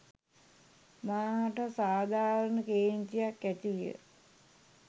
මා හට සාධාරණ කේන්තියක් ඇතිවිය